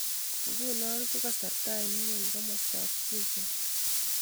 Nguno ko kasarta ainon eng' komostap Cuba